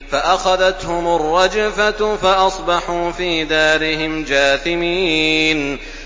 فَأَخَذَتْهُمُ الرَّجْفَةُ فَأَصْبَحُوا فِي دَارِهِمْ جَاثِمِينَ